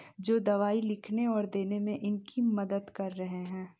जो दवाई लिखने और देने में इनकी मदद कर रहे हैं।